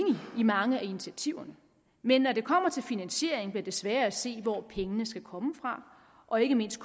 i mange af initiativerne men når det kommer til finansiering bliver det sværere at se hvor pengene skal komme fra og ikke mindst